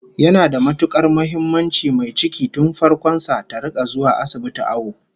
Yana da matukar muhimmanci mai ciki tun farkon sa ta rika zuwa asibiti awo